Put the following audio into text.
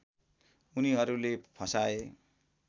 उनीहरूले फसाए